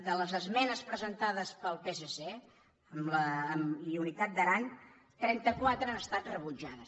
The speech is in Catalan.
de les esmenes presentades pel psc i unitat d’aran trenta·quatre han estat rebutja·des